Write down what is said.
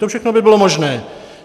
To všechno by bylo možné.